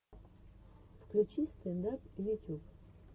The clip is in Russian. включи стэнд ап ютюб